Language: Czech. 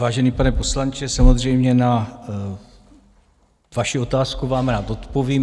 Vážený pane poslanče, samozřejmě na vaši otázku vám rád odpovím.